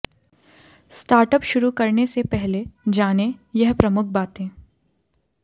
startup शुरू करने से पहले जानें यह प्रमुख बातें